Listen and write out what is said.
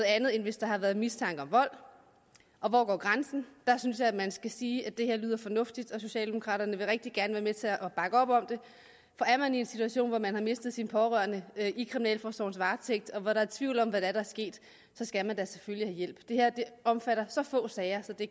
andet end hvis der har været mistanke om vold og hvor går grænsen synes jeg man skal sige at det her lyder fornuftigt og socialdemokraterne vil rigtig gerne være med til at bakke op om det for er man i en situation hvor man har mistet sin pårørende i kriminalforsorgens varetægt og hvor der er tvivl om hvad der er sket så skal man da selvfølgelig have hjælp det her omfatter så få sager at det